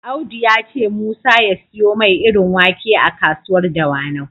Audu ya ce Musa ya siyo mai irin wake a kasuwar Dawanau.